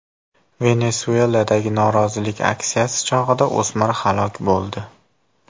Venesueladagi norozilik aksiyasi chog‘ida o‘smir halok bo‘ldi.